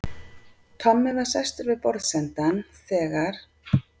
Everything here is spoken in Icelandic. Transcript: Tommi var sestur við borðsendann þegar